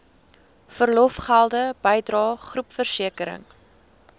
verlofgelde bydrae groepversekering